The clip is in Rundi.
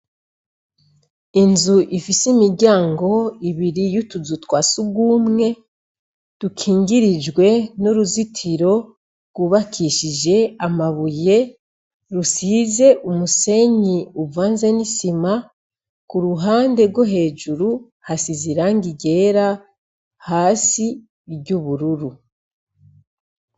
Inzu ifise imiryango ibiri y'utuzu twa sugumwe, dukingirijwe nuruzitiro gwubakishije amabuye rusize umusenyi uvanze n'isima, kuruhande gwo hejuru hasize irangi ryera, hasi iry'ubururu.